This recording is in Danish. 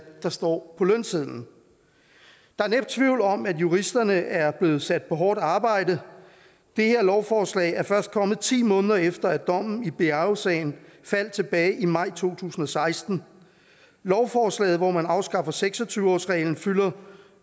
der står på lønsedlen der er næppe tvivl om at juristerne er blevet sat på hårdt arbejde det her lovforslag er først kommet ti måneder efter at dommen i biaosagen faldt tilbage i maj to tusind og seksten lovforslaget hvor man afskaffer seks og tyve årsreglen fylder